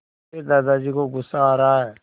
मेरे दादाजी को गुस्सा आ रहा है